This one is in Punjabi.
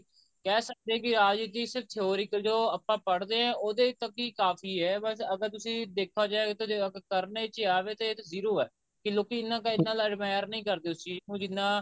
ਕਹਿ ਸਕਦੇ ਹਾਂ ਕਿ ਅੱਜ theoretical ਜੋ ਆਪਾਂ ਪੜ੍ਹਦੇ ਹਾਂ ਉਹਦੇ ਤੱਕ ਹੀ ਕਾਫੀ ਐ ਅਗਰ ਤੁਸੀਂ ਦੇਖਿਆ ਜਾਵੇ ਤਾਂ ਜੇ ਕਰਨੇ ਚ ਆਵੇ ਤੇ ਇਹ zero ਐ ਕੇ ਲੋਕੀ ਇੰਨਾ ਨਹੀਂ ਕਰਦੇ ਉਸ ਚੀਜ਼ ਨੂੰ ਜਿੰਨਾ